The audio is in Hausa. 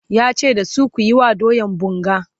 yace da su "kuyi wa doyan bunga!"